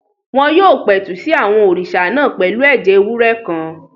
Wọ́n yóò pẹ̀tù sí àwọn òrìṣà náà pẹ̀lú ẹ̀jẹ̀ ewúrẹ́ kan